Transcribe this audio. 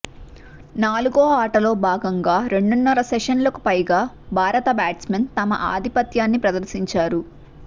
నాలుగో ఆటలో భాగంగా రెండున్నర సెషన్లకు పైగా భారత బ్యాట్స్మన్ తమ ఆధిపత్యాన్ని ప్రదర్శించారు